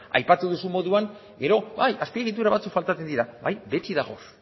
aipatu duzun moduan gero bai azpiegitura batzuk faltatzen dira bai dagoz